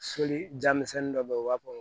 Soli ja misɛnnin dɔ bɛ yen u b'a fɔ